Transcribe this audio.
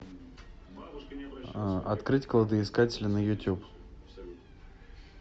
открыть кладоискатели на ютюб